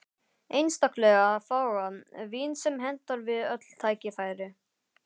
Einstaklega fágað vín sem hentar við öll tækifæri.